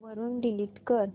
वरून डिलीट कर